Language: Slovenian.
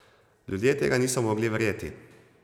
Ljudje tega niso mogli verjeti.